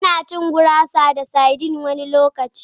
Ina cin gurasa da sardine wani lokaci.